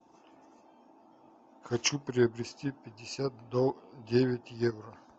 хочу приобрести пятьдесят девять евро